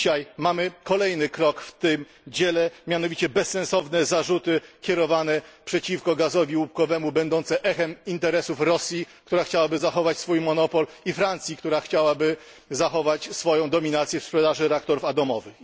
Dzisiaj mamy kolejny krok w tym dziele, mianowicie bezsensowne zarzuty kierowane przeciwko gazowi łupkowemu, będące echem interesów Rosji, która chciałaby zachować swój monopol, i Francji, która chciałaby zachować swoją dominację w sprzedaży reaktorów atomowych.